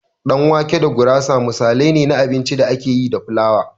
Ɗan wake da gurasa misalai ne na abincin da ake yi da flawa.